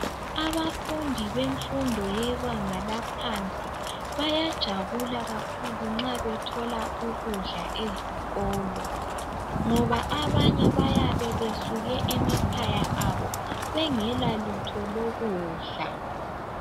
Abafundi bemfundo yebanga laphansi bayajabula nxa bethola ukudla ezikolo ngoba abanye bayabe besuke emakhaya abo bengela lutho lokudla.